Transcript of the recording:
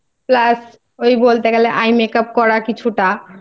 Plus বলতে গেলে Eye Makeup করা কিছুটা